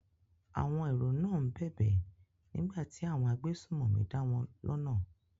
Àwọn èrò náà ń bẹ̀bẹ̀ nígbà tí àwọn agbésùnmọ̀mí dáwọn lọ́nà.